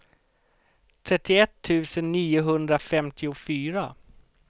trettioett tusen niohundrafemtiofyra